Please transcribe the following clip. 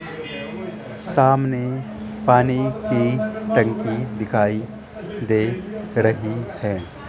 सामने पानी की टंकी दिखाई दे रही है।